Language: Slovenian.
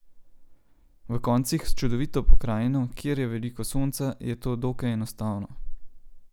V koncih s čudovito pokrajino, kjer je veliko sonca, je to dokaj enostavno.